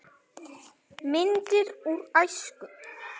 Myndir úr æsku.